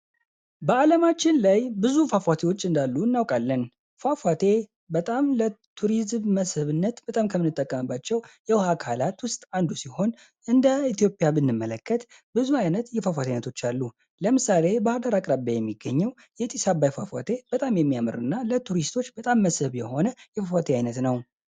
በአለማችን ላይ ብዙ ፏፏቴዎች እንዳሉ እናውቃለን። ፏፏቴ በጣም ለ ቱሪዝም መስህብነት በጣም ከሚጠቀምባቸው የውሃ አካላት ውስጥ አንዱ ሲሆን፤ እንደ ኢትዮጵያ ብንመለከት ብዙ አይነት የፏፏቴ አይነቶች አሉ። ለምሳሌ ባህርዳር አቅራቢያ የሚገኘው የጢስ አባይ ፏፏቴ በጣም የሚያምርና ለቱሪስቶች በጣም መስህብ የሆነ የ ፏፏቴ አይነት ነው።